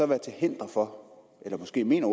være til hinder for eller måske mener